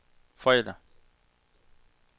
fredag